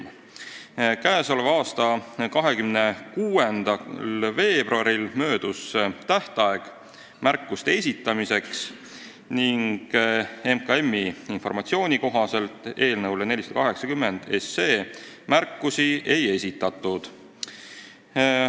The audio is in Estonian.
Märkuste esitamise tähtaeg möödus k.a 26. veebruaril ning Majandus- ja Kommunikatsiooniministeeriumi informatsiooni kohaselt eelnõu 480 kohta märkusi ei esitatud.